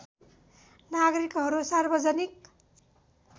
नागरिकहरू सार्वजनिक